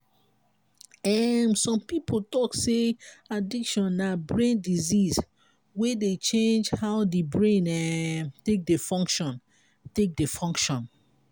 um some pipo talk sey addiction na brain disease wey dey change how di brain um take dey function take dey function